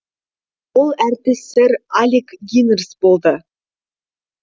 ол әртіс сэр алек гинерс болды